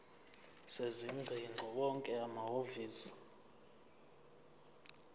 sezingcingo wonke amahhovisi